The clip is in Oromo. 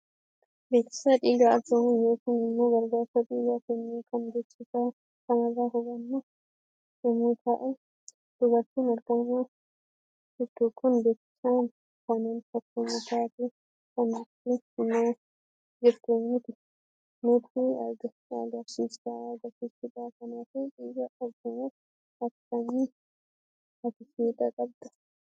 Beeksiisa dhiigaa arjoomuu yookiin immoo gargaarsa dhiigaa kennu kan beeksiisa kanarra hubannu yemmuu tahu dubartin argaama jirtu kun beeksiisa kanaan fakkeenya taatee kan nutti hima jirtu nutti agarsiisudha. Kanaafuu dhiiga arjoomuuf akkami ati fedha qabda?